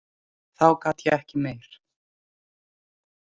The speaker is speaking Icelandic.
Þá gat ég ekki meir.